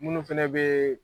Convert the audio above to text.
Minnu fana bɛ